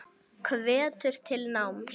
Hvetur til náms.